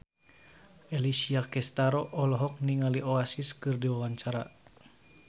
Alessia Cestaro olohok ningali Oasis keur diwawancara